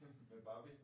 Med Barbie?